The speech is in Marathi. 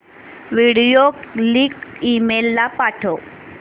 व्हिडिओ लिंक ईमेल ला पाठव